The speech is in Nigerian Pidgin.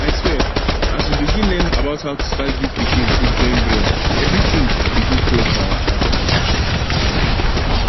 i swear as we begin learn about how to start give pikin food join breast everything begin clear for eye